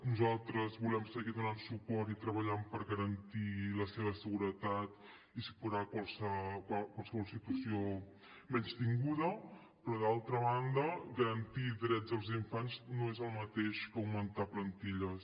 nosaltres volem seguir donant suport i treballant per garantir la seva seguretat i superar qualsevol situació menystinguda però d’altra banda garantir drets als infants no és el mateix que augmentar plantilles